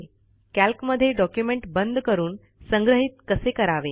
कॅल्कमधे document बंद करून संग्रहित कसे करावे